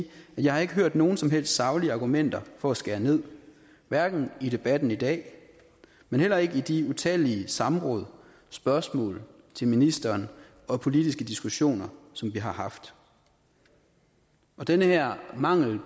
jeg ikke har hørt nogen som helst saglige argumenter for at skære ned hverken i debatten i dag og heller ikke ved de utallige samråd spørgsmål til ministeren og politiske diskussioner som vi har haft den her mangel